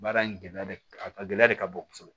Baara in gɛlɛya de a gɛlɛya de ka bon kosɛbɛ